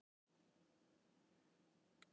Hættu strax Ísbjörg.